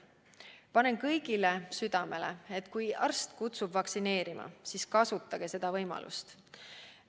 Panen kõigile südamele, et kui arst kutsub vaktsineerima, siis kasutage seda võimalust!